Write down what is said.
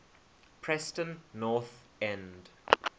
preston north end